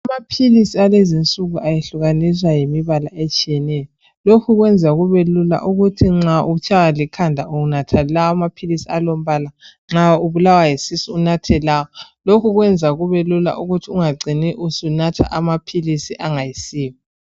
Amaphilisi alezinsuku ahlukaniswa ngembala etshiyeneyo, lokhu kwenza kubelula ukuthi nxa utshaywa likhanda unatha lawa ,nxa ubulawa yisisu unathe lawa ,lokhu kwenza kubelula ukuthi ungacini usunatha amaphilisi angasiwo .